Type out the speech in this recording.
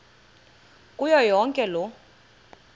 kuyo yonke loo